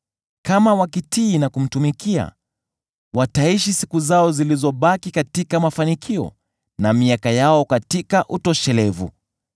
Kama wakitii na kumtumikia, wataishi siku zao zilizobaki katika mafanikio, na miaka yao katika utoshelevu.